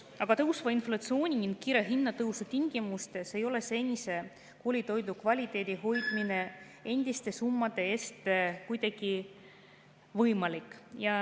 Aga tõusva inflatsiooni ning kiire hinnatõusu tingimustes ei ole koolitoidu senise kvaliteedi hoidmine endiste summade eest kuidagi võimalik.